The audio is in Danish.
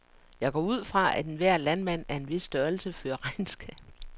Jeg går ud fra, at enhver landmand af en vis størrelse fører regnskab.